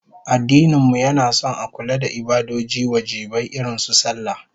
Addinin mu yana son a kula da ibadoji wajibai irin su sallah